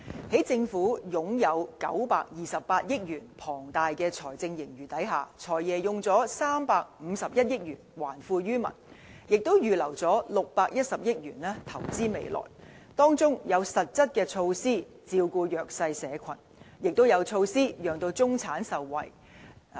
在政府擁有928億元龐大財政盈餘的情況下，"財爺"動用351億元還富於民，也預留610億元投資未來，當中有實質措施，照顧弱勢社群，也有措施讓中產受惠。